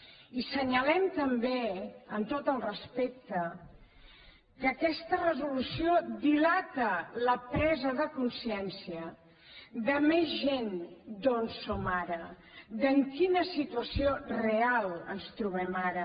i assenyalem també amb tot el respecte que aquesta resolució dilata la presa de consciència de més gent d’on som ara de en quina situació real ens trobem ara